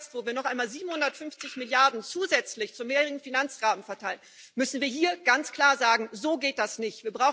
Gerade jetzt, wo wir noch einmal 750 Milliarden zusätzlich zum Mehrjährigen Finanzrahmen verteilen, müssen wir hier ganz klar sagen So geht das nicht!